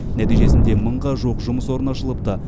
нәтижесінде мыңға жуық жұмыс орны ашылыпты